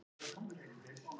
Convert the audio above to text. Einn játaði sök